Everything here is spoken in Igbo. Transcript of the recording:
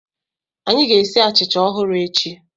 Anyị ga-esi achịcha ọhụrụ echi.